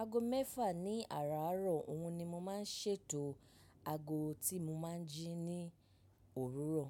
Aago mẹ́fà ní àrọ̀ òun ni mo máa ń ṣètò. Aago tí mo máa ń jí ní òwúrọ̀.